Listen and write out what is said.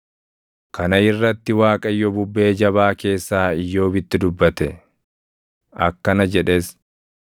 Kana irratti Waaqayyo bubbee jabaa keessaa Iyyoobitti dubbate. Akkana jedhes: